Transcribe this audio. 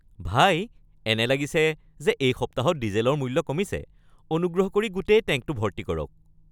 ভাই, এনে লাগিছে যে এই সপ্তাহত ডিজেলৰ মূল্য কমিছে। অনুগ্ৰহ কৰি গোটেই টেংকটো ভৰ্তি কৰক।